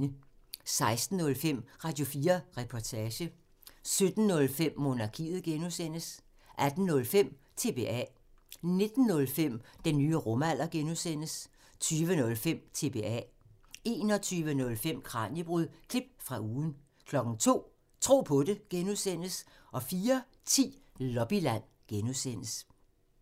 16:05: Radio4 Reportage 17:05: Monarkiet (G) 18:05: TBA 19:05: Den nye rumalder (G) 20:05: TBA 21:05: Kraniebrud – klip fra ugen 02:00: Tro på det (G) 04:10: Lobbyland (G)